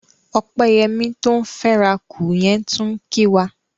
Ọpẹ́yẹmí tó ń fẹ́rakù yẹn tún ń kí wa.